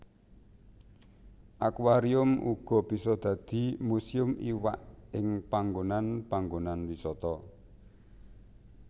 Akuarium uga bisa dadi muséum iwak ing panggonan panggonan wisata